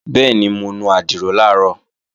Bẹ́ẹ̀ni, mo nu àdìrò làárọ̀